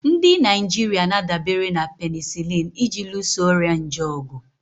Ndị Naijiria na-adabere na penisilini iji luso ọrịa nje ọgụ.